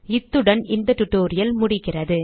இத்துடன் இந்த டியூட்டோரியல் முடிகிறது